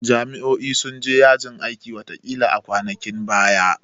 Jami'o'i sun je yajin aikin watakila a kwanakin baya